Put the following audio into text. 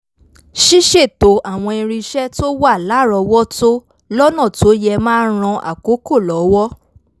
ṣíṣètò àwọn irinṣẹ́ tó wà lárọ̀ọ́wọ́tó lọ́nà tó yẹ máa n ran àkókò lọ́wọ́